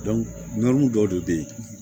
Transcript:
dɔw de bɛ ye